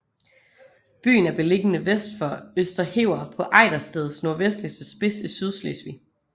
Byen er beliggende vest for Østerhever på Ejdersteds nordvestligste spids i Sydslesvig